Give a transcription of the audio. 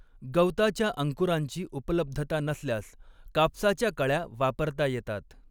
गवताच्या अंकुरांची उपलब्धता नसल्यास कापसाच्या कळ्या वापरता येतात.